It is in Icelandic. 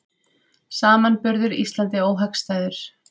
Samanburður Íslandi óhagstæður